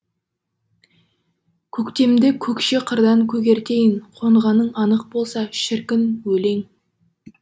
көктемді көкше қырдан көгертейін қонғаның анық болса шіркін өлең